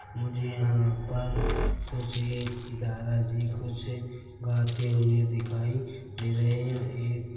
मुझे यहाँ पर कुछ एक दादा जी कुछ गाते हुए दिखाई दे रहे है एक--